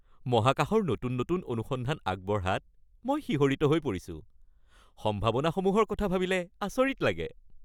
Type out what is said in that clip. মহাকাশৰ নতুন নতুন অনুসন্ধান আগবঢ়াত মই শিহৰিত হৈ পৰিছো! সম্ভাৱনাসমূহৰ কথা ভাবিলে আচৰিত লাগে।